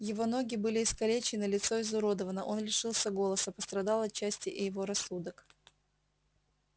его ноги были искалечены лицо изуродовано он лишился голоса пострадал отчасти и его рассудок